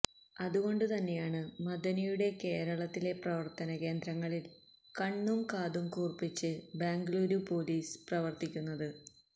അതുകൊണ്ട് തന്നെയാണ് മദനിയുടെ കേരളത്തിലെ പ്രവർത്തന കേന്ദ്രങ്ങളിൽ കണ്ണും കാതു കൂർപ്പിച്ച് ബംഗലുരു പൊലീസ് പ്രവർത്തിക്കുന്നത്